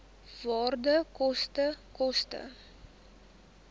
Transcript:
waarde koste koste